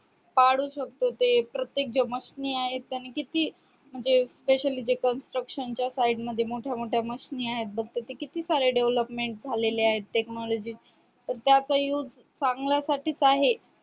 काढु शकतो ते प्रत्येक जे mashne आहे त्यांनी किती म्हणजे specially जे construction च्या side मध्ये मोठ्या मोठ्या mashine आहेत बगत ते किती सारे development झालेले आहेत technology पण त्या काही used चांगल्या साठीच आहे